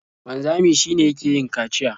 Wanzami shi ne yake yin kaciya.